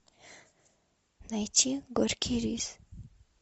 найти горький рис